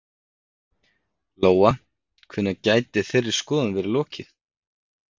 Lóa: Hvenær gæti þeirri skoðun verið lokið?